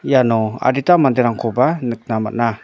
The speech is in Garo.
iano adita manderangkoba nikna man·a.